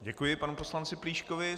Děkuji panu poslanci Plíškovi.